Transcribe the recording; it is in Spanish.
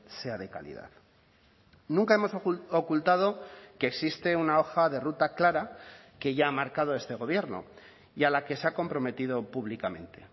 sea de calidad nunca hemos ocultado que existe una hoja de ruta clara que ya ha marcado este gobierno y a la que se ha comprometido públicamente